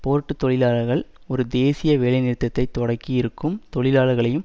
board தொழிலாளர்கள் ஒரு தேசிய வேலைநிறுத்தத்தை தொடக்கி இருக்கும் தொழிலாளர்களையும்